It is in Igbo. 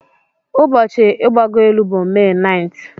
Ụbọchị igbago elu bụ May 9th